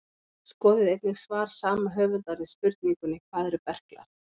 Skoðið einnig svar sama höfundar við spurningunni Hvað eru berklar?